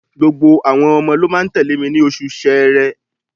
Gbogbo àwọn ọmọ ló máa tẹ̀lé mi ní oṣù Ṣẹẹrẹ.